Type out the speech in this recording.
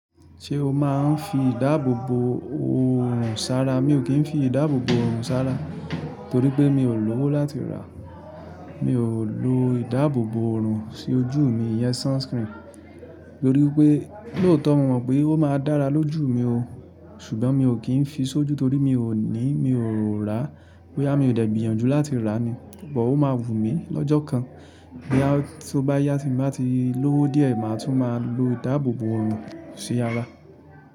Ṣé o máa ń fi ìdáàbòbò òrùn sárá? Mi ò kí ń fi ìdáàbòbò òrùn sárá torí pé mi ò lówó láti ràá. Mi ò lo ìdáàbòbò òrùn sí ojú mi, iyen sunscreen, torí pé lóòtọ̀ mo mọ̀ pé ó máa dára lójú mi o, ṣùgbọ́n mi ò kí ń fi sójú torí mi ò ní, mi ò rà á. Boyá mi ò dẹ̀ gbíyànjú láti rà á ni. Ṣùgbọ́n ó máa wù mí lọ́jọ́ kan bí a tí ó bá yá tí mo bá ti lówó díẹ̀, màá tún máa lo ìdáàbòbò òrùn sí ara.